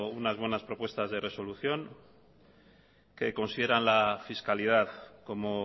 unas buenas propuestas de resolución que consideran la fiscalidad como